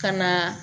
Ka na